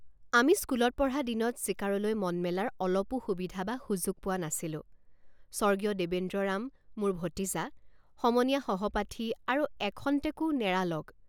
আমি স্কুলত পঢ়া দিনত চিকাৰলৈ মন মেলাৰ অলপো সুবিধা বা সুযোগ পোৱা নাছিলোঁ৷ স্বৰ্গীয় দেবেন্দ্ৰৰাম মোৰ ভতিজাসমনীয়া সহপাঠী আৰু এখন্তেকো নেৰা লগ।